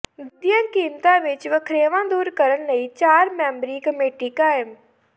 ਦੁੱਧ ਦੀਆਂ ਕੀਮਤਾਂ ਵਿੱਚ ਵਖਰੇਵਾਂ ਦੂਰ ਕਰਨ ਲਈ ਚਾਰ ਮੈਂਬਰੀ ਕਮੇਟੀ ਕਾਇਮ